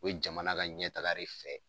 U be jamana ka ɲɛ taga re fɛ